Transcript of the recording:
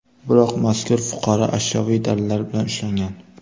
Biroq mazkur fuqaro ashyoviy dalillar bilan ushlangan.